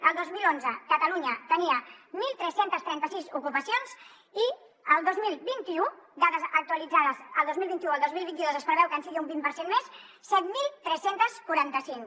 el dos mil onze catalunya tenia tretze trenta sis ocupacions i el dos mil vint u dades actualitzades el dos mil vint u el dos mil vint dos es preveu que sigui un vint per cent més set mil tres cents i quaranta cinc